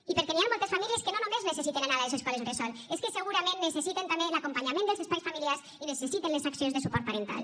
i perquè hi han moltes famílies que no només necessiten anar a les escoles bressol és que segurament necessiten també l’acompanyament dels espais familiars i necessiten les accions de suport parental